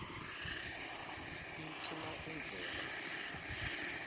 iphi na indlela